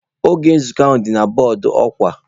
Oge nzukọ ahụ dị na bọọdụ ọkwa.